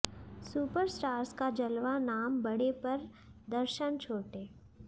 superstars का जलवा नाम बड़े पर दर्शन छोटे